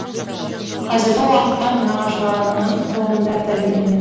қазіргі уақытта нағашыларының қолында тәрбиеленеді